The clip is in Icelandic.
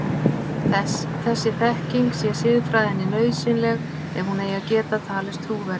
Þessi þekking sé siðfræðinni nauðsynleg ef hún eigi að geta talist trúverðug.